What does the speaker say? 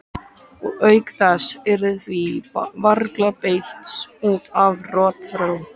Og auk þess yrði því varla beitt út af rotþró.